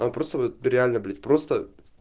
я просто реально блять просто